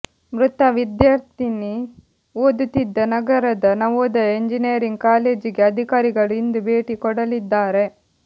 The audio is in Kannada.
ಮೃತ ವಿದ್ಯಾರ್ಥಿನಿ ಓದುತ್ತಿದ್ದ ನಗರದ ನವೋದಯ ಎಂಜಿನಿಯರಿಂಗ್ ಕಾಲೇಜಿಗೆ ಅಧಿಕಾರಿಗಳು ಇಂದು ಭೇಟಿ ಕೊಡಲಿದ್ದಾರೆ